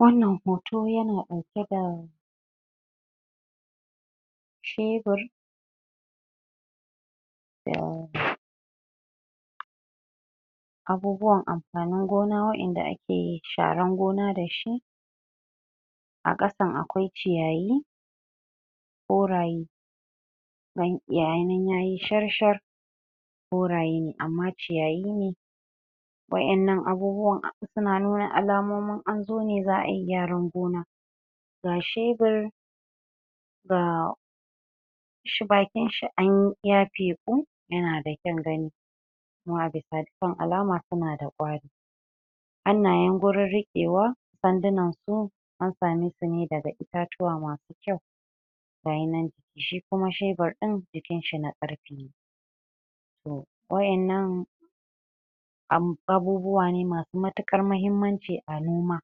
Wannan hoto yana ɗauke da cebur abubuwan amfanin gona wa'inda ake sharan gona dashi ke amfanin gona dashi a ƙasan akwai ciyayi koraye gayi nan yayi shar-shar koraye ne amma ciyayi ne wa'in nan abubuwan suna nuna alamomun anzo ne za'a yi gyaran gona ga shebur gaaa shi bakinshi anyi ya feƙu yanada kyan gani kuma a bisa dukkan alama suna da ƙwari hannayen gurin riƙewa sandunan su an samesu ne daga itatuwa masu kyau gayi nan shi kuma shebur ɗin jikinshi na ƙarfe toh wa'innan Amm! abubuwa ne masu matuƙar mahimmanci a noma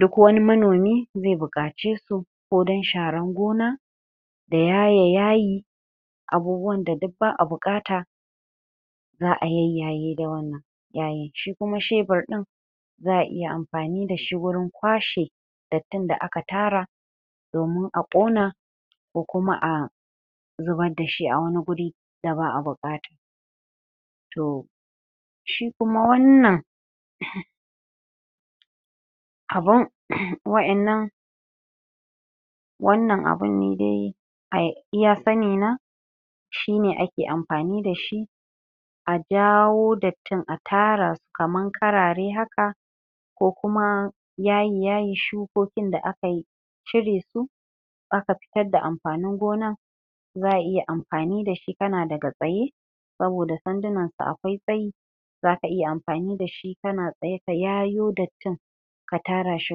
duk wani manomi zai buƙace su ko dan sharan gona da yaye yaayi abubuwan da duk ba'a buƙata za'a yayyaye da wannan yayi, shi kuma shebur ɗin za'a iya amfani dashi wurin kwashe dattin da aka tara domin a ƙona ko kuma a zubar dashi a wani guri da ba'a buƙata tohh shi kuma wannan abun uhmm wa'innan wannan abun ni dai a iya sanni na shi ne ake amfani dashi a jaawo dattin a tara su kaman karare haka ko kuma yaye yayi shukokin da akayi cire su aka fitar da amfanin gonan za'a iya amfani dashi kana daga tsaye saboda sandunan su akwai tsayi zaka iya amfani dashi kana tsaye ka yayo dattin ka tara shi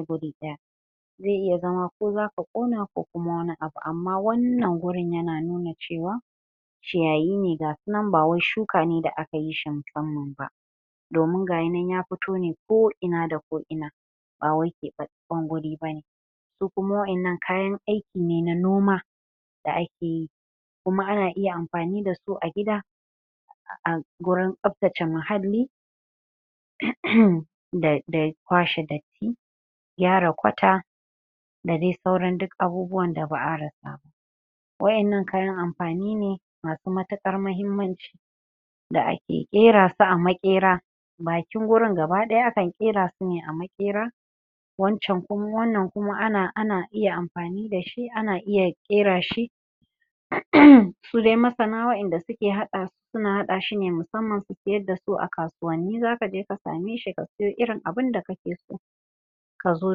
guri ɗaya zai iya zama ko za ka ƙona ko kuma wani abu amma wannan gurin yana nuna cewa ciyayi ne gasu nan ba wai shuka ne da akayi shi musamman ba domin gayi nan ya fito ne ko ina da ko ina bawai keɓaɓɓan guri bane ko kuma wa'innan kayan aiki ne na noma da akeyi kuma ana iya amfani dasu a gida a gurin tsaftace muhalli uh uhmm da da kwashe datti gyara kwata da dai sauran duk abubuwan da ba'a rasa ba wa'innan kayan amfani ne masu matuƙar mahimmanci da ake ƙerasu a maƙera bakin gurin gaba ɗaya akan ƙerasu ne a maƙera wancan kuma wannan kuma ana ana iya amfani dashi ana iya ƙera shi uh uhmm su dai masana wa'inda suke haɗa su suna haɗa shi ne musamman su siyar dasu a kasuwa zaka je ka same shi ka siyo irin abinda kake so ka zo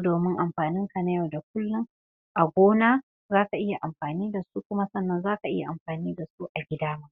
domin amfaninka na yau da kullum a gona zaka iya amfani dasu kuma sannan zaka iya amfani dasu a gida